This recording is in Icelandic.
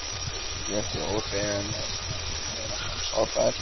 Létti ósegjanlega þegar hann sá þær.